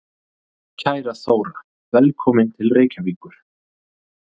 Kæra Þóra. Velkomin til Reykjavíkur.